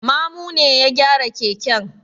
Mamu ne ya gyara keken.